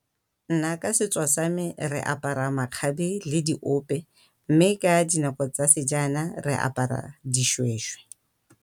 Nna ka setso sa me re apara makgabe le diope mme ka dinako tsa se jaana re apara dishweshwe.